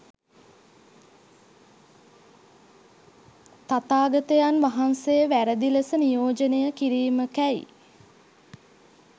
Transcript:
තථාගතයන් වහන්සේ වැරැදි ලෙස නියෝජනය කිරීමකැයි